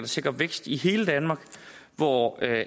sikre vækst i hele danmark hvor